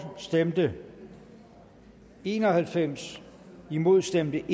stemte en og halvfems imod stemte